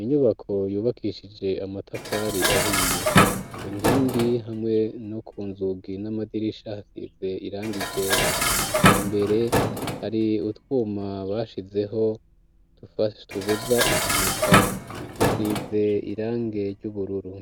inyubako yubakishije amatafari ahiye, ku nkingi hamwe no ku nzugi n'amadirisha hasize irangi ryera, imbere hari utwuma bashizeho tubuza impanuka dusize irangi ry'ubururu.